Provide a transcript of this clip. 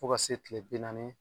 Fo ka se tile bi naani